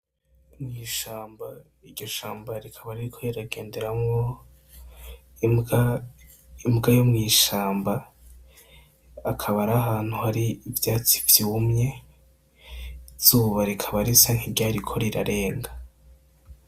Mw'ishamba, iryo shamba rikaba ririko riragenderamwo imbwa, imbwa yo mw'ishamba, akaba ari ahantu hari ivyatsi vyumye, izuba rikaba risa nk'iryariko rirarenga.